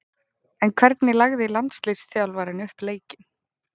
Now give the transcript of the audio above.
En hvernig lagði landsliðsþjálfarinn upp leikinn?